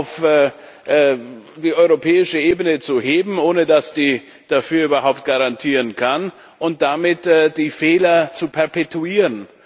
auf die europäische Ebene zu heben, ohne dass die dafür überhaupt garantieren kann, und damit die Fehler zu perpetuieren.